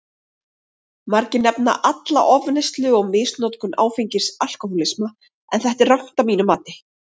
Margir nefna alla ofneyslu og misnotkun áfengis alkohólisma, en þetta er rangt að mínu mati.